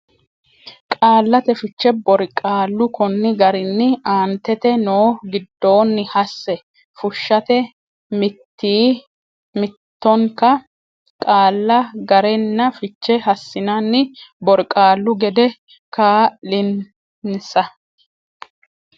qaallate fiche borqaallu konni garinni aantete noo giddonni hasse fushshate mitii mitannokki qaalla ga renna fiche hassinanni borqaallu gede kaa linsa.